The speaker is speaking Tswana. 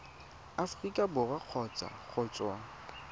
aforika borwa kgotsa go tswa